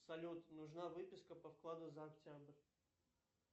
салют нужна выписка по вкладу за октябрь